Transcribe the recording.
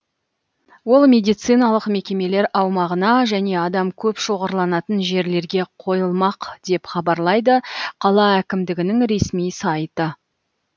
ол медициналық мекемелер аумағына және адам көп шоғырланатын жерлерге қойылмақ деп хабарлайды қала әкімдігінің ресми сайты